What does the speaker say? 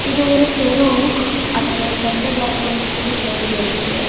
இது ஒரு தெரு அதுல சென்டர்ல வந்து ஒரு இந்து கோயில் இருக்கு.